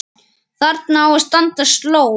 Þarna á að standa sló.